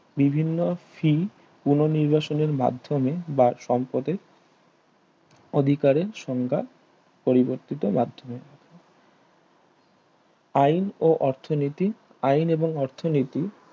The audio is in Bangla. বিভিন্ন ফী পুন নির্বাসনের মাধ্যমে বা সম্পদে অধিকারে সংজ্ঞা পরিবর্তিত মাধ্যমে আইন ও অর্থনীতি আইন এবং অর্থনীতি